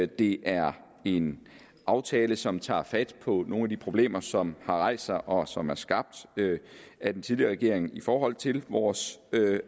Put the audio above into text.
det er en aftale som tager fat på nogle af de problemer som har rejst sig og som er skabt af den tidligere regering i forhold til vores